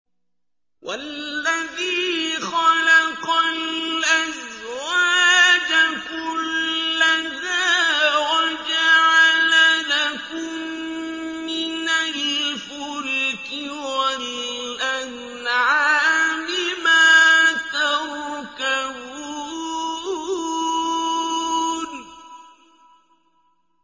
وَالَّذِي خَلَقَ الْأَزْوَاجَ كُلَّهَا وَجَعَلَ لَكُم مِّنَ الْفُلْكِ وَالْأَنْعَامِ مَا تَرْكَبُونَ